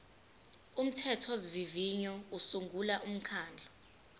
umthethosivivinyo usungula umkhandlu